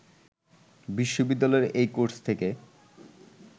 বিশ্ববিদ্যালয়ের এই কোর্স থেকে